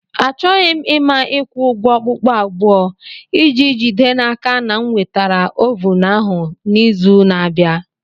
Achọghị m ịma ịkwụ ụgwọ okpukpu abụọ iji jide n'aka na m nwetara ovun ahụ n'izu na-abịa.